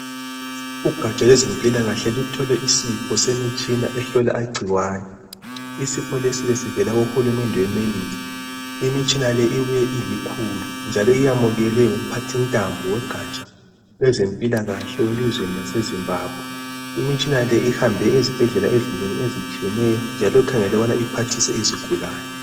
Ugatsha lwezempilakahle luthole isipho semitshina ehlola igciwane. Isipho lesi besivela kuhulumende wemelika imitshina le ibuye ilikhulu njalo yamukelwe ngumphathintambo wogatsha lwezempilakahle welizweni laseZimbabwe. Imitshina le ihambe ezibhedlela ezinengi ezitshiyeneyo jnjalo ikhangelelwe ukuthi iphathise izigulane.